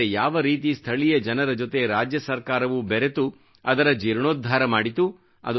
ಆದರೆ ಯಾವ ರೀತಿ ಸ್ಥಳೀಯ ಜನರ ಜೊತೆ ರಾಜ್ಯ ಸರ್ಕಾರವೂ ಬೆರೆತು ಅದರ ಜೀರ್ಣೋದ್ಧಾರ ಮಾಡಿತು